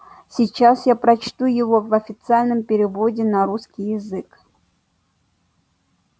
сейчас я прочту его в официальном переводе на русский язык